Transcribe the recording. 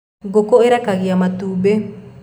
ngũkũ irekagia matumbi